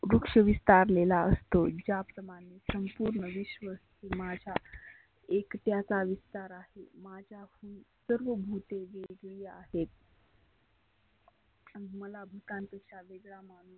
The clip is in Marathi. वृक्ष विस्तारलेला असतो ज्या प्रमाने संपुर्ण विश्व माझ्या एकट्याचा विस्तार आहे. माझ्या सर्व भुतेची वेगळी आहेत. मला भुतांपेक्षा वेगळा माणूस